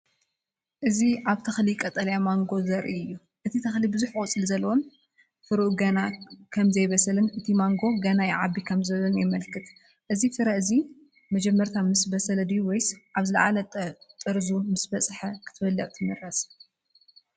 እዚ ኣብ ተክሊ ቀጠልያ ማንጎ ዘርኢ እዩ። እቲ ተክሊ ብዙሕ ቆጽሊ ዘለዎን ፍረኡ ገና ከምዘይበሰለን እቲ ማንጎ ገና ይዓቢ ከምዘሎ የመልክት። እዚ ፍረ እዚ መጀመርታ ምስ በሰለ ድዩ ወይስ ኣብ ዝለዓለ ጥርዙ ምስ በጽሐ ክትበልዕ ትመርጽ?